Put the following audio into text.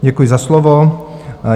Děkuji za slovo.